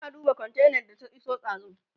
yana duba kontainar da ta iso dazun